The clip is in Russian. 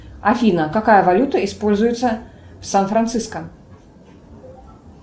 афина какая валюта используется в сан франциско